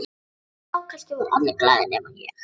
Já, kannski voru allir glaðir nema ég.